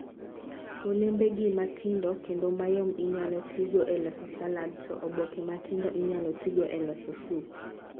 Olembegi ma tindo kendo mayom inyalo tigo e loso salad, to oboke ma tindo inyalo tigo e loso sup.